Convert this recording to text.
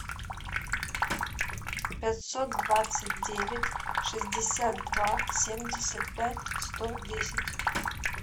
пятьсот двадцать девять шестьдесят два семьдесят пять сто десять